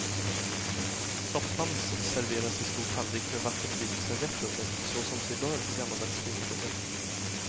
Soppans serveras i stor tallrik med vackert vikt servett under, så som sig bör på gammaldags finkrogar.